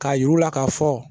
K'a y'ir'u la k'a fɔ